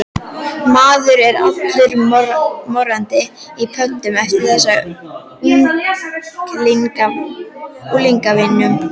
Maður er allur morandi í pöddum eftir þessa unglingavinnu.